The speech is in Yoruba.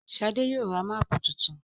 Shade yóò rá Máàpù títún.